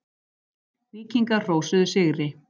Víkingar hrósuðu sigri